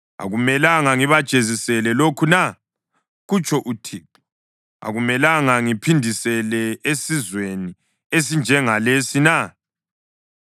Akumelanga ngibajezisele lokhu na?” kutsho uThixo. “Akumelanga ngiphindisele esizweni esinjengalesi na?